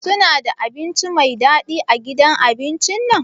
Suna da abinci Mai dadi a gidan abincin nan?